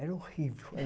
Era horrível.